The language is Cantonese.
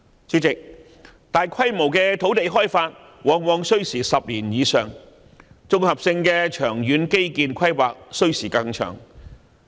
主席，大規模的土地開發往往需時10年以上，綜合性的長遠基建規劃需時更長。